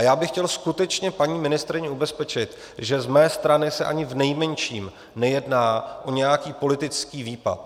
A já bych chtěl skutečně paní ministryni ubezpečit, že z mé strany se ani v nejmenším nejedná o nějaký politický výpad.